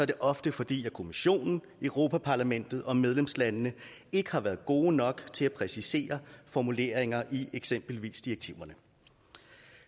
det ofte fordi kommissionen europa parlamentet og medlemslandene ikke har været gode nok til at præcisere formuleringer i eksempelvis direktiverne